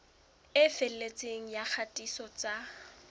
e felletseng ya kgatiso tsa